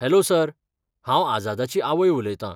Hello sir, हांव आझादाची आवय उलयतां.